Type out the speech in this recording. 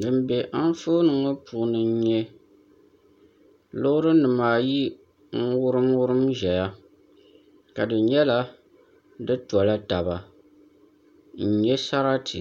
Din bɛ Anfooni ŋɔ puuni n nyɛ loori nim ayi n wurim wurim ʒɛya ka di nyɛla di tɔla taba n nyɛ sarati